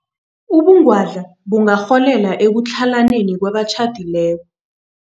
Ubungwadla bungarholela ekutlhalaneni kwabatjhadileko.